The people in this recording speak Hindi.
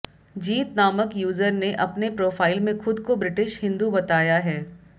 जीत नामक यूजर ने अपने प्रोफाइल में खुद को ब्रिटिश हिंदू बताया है